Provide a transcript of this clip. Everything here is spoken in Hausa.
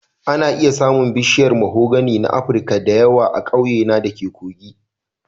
Ana iya samun bishiyar mahogany na Afirka da yawa a ƙauyena da ke Kogi